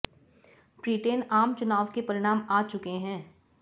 Britain आम चुनाव के परिणाम आ चुके हैं